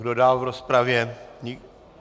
Kdo dál v rozpravě?